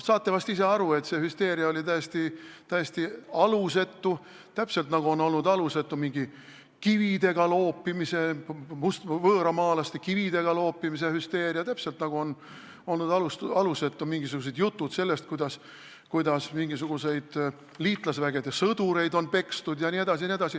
Saate vist isegi aru, et see hüsteeria oli täiesti alusetu, täpselt nagu oli alusetu mingi võõramaalaste kividega loopimise hüsteeria, täpselt nagu olid alusetud jutud sellest, kuidas mingisuguseid liitlasvägede sõdureid on pekstud jne.